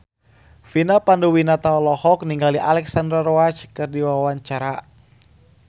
Vina Panduwinata olohok ningali Alexandra Roach keur diwawancara